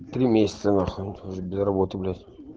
три месяца на хрен тоже без работы блять